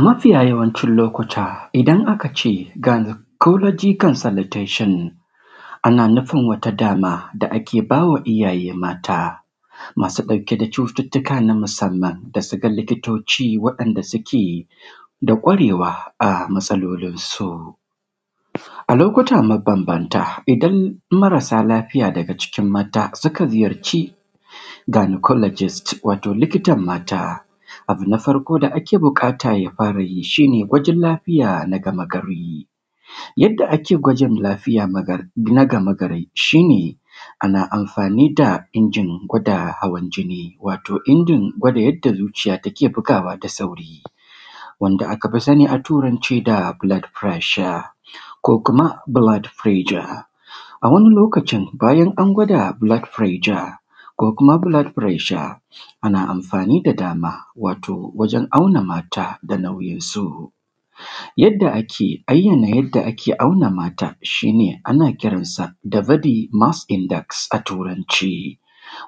Mafiya yawancin lokuta idan aka ce “ghynocolgy consolutation”, ana nufin wata dama da ake ba wa iyaye mata masu ɗauke da cututtuka na musamman, da su ga likitoci waɗanda suke da ƙwarewa a matsalolinsu. A lokuta mabambanta, idan marasa lafiya daga cikin mata suka ziyarci “ghynocologist’, wato likitan mata, abu na farko da ake bukata ya fara yi shi ne, gwajin lafiya na gamagari. Yadda ake gwajin lafiya magar; na gamagari shi ne, ana amfani da injin gwada hawan jinni, wato injin gwada yadda zuciya take bugawa da sauri, wanda aka fi sani a Turance da “blood pressure” ko kuma “blood pressue”. A wani lokacin, bayan an gwada “blood pressure” ko kuma “blood pressue”, ana amfani da dama, wato wajen auna mata da nauyinsu. Yadda ake ayyana yadda ake auna mata, shi ne ana kiran sa da “body mass index” a Turance,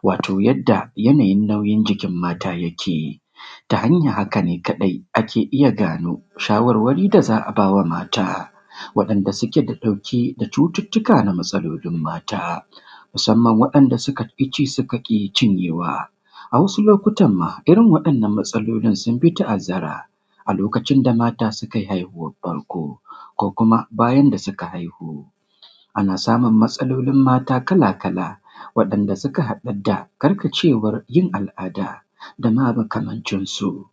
wato yadda yanayin nauyin jikin mata yake, ta hanyah haka ne kaɗai ake iya gano shawarwari da za a ba wa mata, waɗanda suke da ɗauke da cututtuka na matsalolin mata, musamman waɗanda suka ƙi ci suka ƙi cinyewa. A wasu lokutan ma, irin waɗannan matsalolin sun fi ta’azzara a lokacin da mata sukai haihuwar farko ko kuma, bayan da suka haihu. Ana samum matsalolin mata kalakala waɗanda suka haɗad da karkacewar yin al’ada da ma makamancin su.